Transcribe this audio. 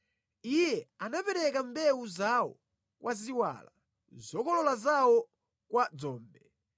Iye anapereka mbewu zawo kwa ziwala, zokolola zawo kwa dzombe.